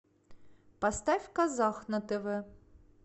поставь казах на тв